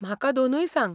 म्हाका दोनूय सांग.